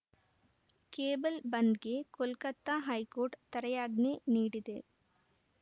cable ಬಂದ್‌ಗೆ Kolkata high court ತಡೆಯಾಜ್ಞೆ ನೀಡಿದೆ